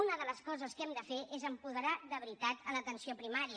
una de les coses que hem de fer és apoderar de veritat l’atenció primària